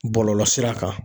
Bɔlɔlɔsira kan